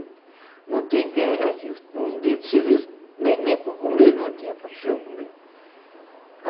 não tem quem a gente... Um dia de serviço, nem nem para comer não tinha para a pessoa comer.